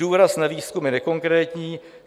Důraz na výzkum je nekonkrétní.